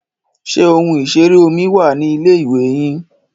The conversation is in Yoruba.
Ṣé ohun ìṣeré omi wà ní ilé-ìwè yín?